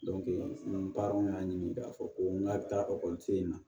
ni patɔrɔn y'a ɲini k'a fɔ ko n ka taa ekɔliso in na